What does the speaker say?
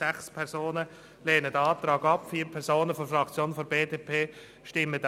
Sechs Fraktionsmitglieder lehnen den Antrag ab, vier stimmen ihm zu.